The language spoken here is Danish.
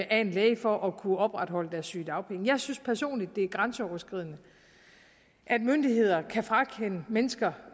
af en læge for at kunne opretholde deres sygedagpenge jeg synes personligt det er grænseoverskridende at myndigheder kan frakende mennesker